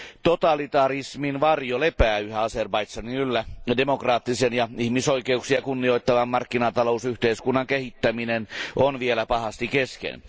Totalitarismin varjo lepää yhä Azerbaidžanin yllä ja demokraattisen ja ihmisoikeuksia kunnioittavan markkinatalousyhteiskunnan kehittäminen on vielä pahasti kesken.